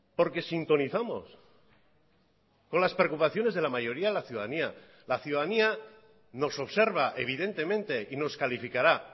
porque sintonizamos con las preocupaciones de la mayoría de la ciudadanía la ciudadanía nos observa evidentemente y nos calificará